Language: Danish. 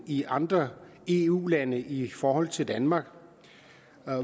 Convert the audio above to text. i andre eu lande i forhold til danmark